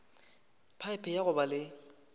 phaephe ya go ba le